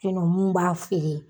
Fen no mun b'a feere